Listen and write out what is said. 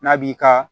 N'a b'i ka